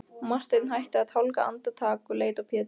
Marteinn hætti að tálga andartak og leit á Pétur.